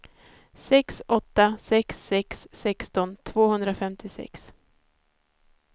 sex åtta sex sex sexton tvåhundrafemtiosex